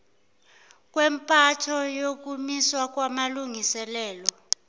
kwempatho ukumiswa kwamalungiselelo